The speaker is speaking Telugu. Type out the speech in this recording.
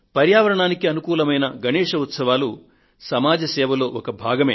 పర్యావరణానికి అనుకూలమైన గణేశ్ ఉత్సవాలు సమాజ సేవలో ఒక భాగమే